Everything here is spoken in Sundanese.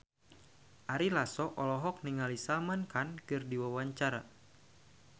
Ari Lasso olohok ningali Salman Khan keur diwawancara